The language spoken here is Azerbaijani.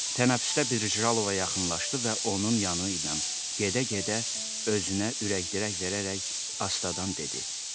Tənəffüsdə Brijalova yaxınlaşdı və onun yanıyla gedə-gedə özünə ürək-dirək verərək astadan dedi: